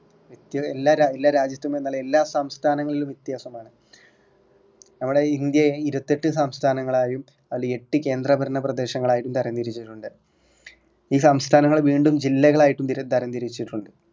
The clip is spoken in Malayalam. മിക്കഎല്ലാ എല്ലാരാജ്യത്തും എന്നല്ല എല്ലാ സംസ്ഥാനങ്ങളിലും വ്യത്യാസമാണ് നമ്മുടെ ഇന്ത്യയെ ഇരുപത്തിയെട്ട് സംസ്ഥനങ്ങളായും അൽ എട്ടു കേന്ദ്രഭരണ പ്രദേശങ്ങളായും തരാം തിരിച്ചിട്ടുണ്ട് ഈ സംസ്ഥാനങ്ങളെ വീണ്ടും ജില്ലകളായും തരം തിരിച്ചിട്ടുണ്ട്